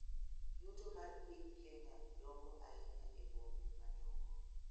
Yuto mar piny Kenya dongo ahinya e bombe madongo.